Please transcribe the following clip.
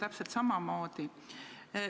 Täpselt samamoodi.